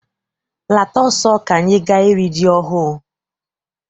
Lata ọsọ ka anyị gaa iri ji ọhụụ!